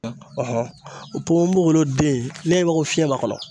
o ponponbogolo den n'i y'a ye i b'a fɔ ko fiyɛn b'a kɔnɔ.